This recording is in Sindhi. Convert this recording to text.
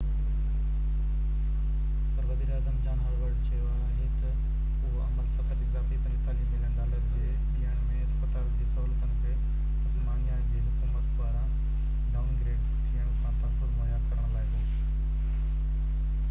پر وزير اعظم جان هاوررڊ چيو آهي ته اهو عمل فقط اضافي 45 ملين ڊالر جي ڏيڻ ۾ اسپتال جي سهولتن کي تسمانيا جي حڪومت پاران ڊائونگريڊ ٿيڻ کان تحفظ مهيا ڪرڻ لاءِ هو